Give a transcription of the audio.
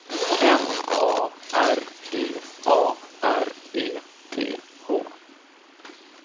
M A R G A R E T H